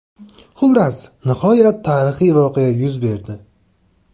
Xullas, nihoyat tarixiy voqea yuz berdi.